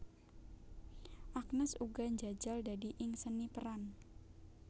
Agnes uga njajal dadi ing seni peran